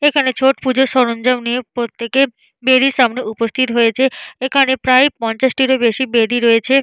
এইখানে ছট পুজোর সরঞ্জাম নিয়ে প্রত্যেকে বেদির সামনে উপস্থিত হয়েছে। এইখানে প্রায় পঞ্চাশটিরও বেশি বেদি রয়েছে।